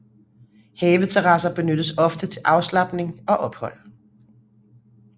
Haveterrasser benyttes ofte til afslapning og ophold